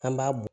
An b'a bo